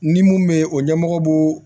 Ni mun bɛ ye o ɲɛmɔgɔ b'o